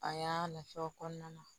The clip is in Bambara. A y'a nafa o kɔnɔna na